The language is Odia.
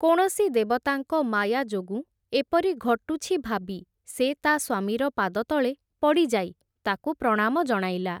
କୌଣସି ଦେବତାଙ୍କ ମାୟା ଯୋଗୁଁ ଏପରି ଘଟୁଛି ଭାବି, ସେ ତା ସ୍ଵାମୀର ପାଦତଳେ ପଡ଼ିଯାଇ, ତାକୁ ପ୍ରଣାମ ଜଣାଇଲା ।